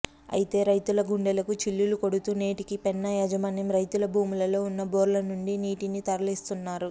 అయితే రైతుల గుండెలకు చిల్లులు కొడుతూ నేటికీ పెన్నా యాజమాన్యం రైతుల భూములలో ఉన్న బోర్ల నుండి నీటిని తరలిస్తున్నారు